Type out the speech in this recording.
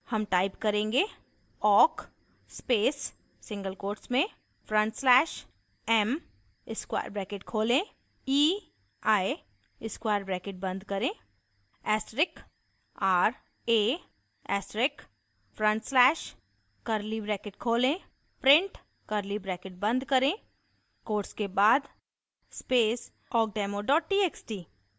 हम type करेंगे: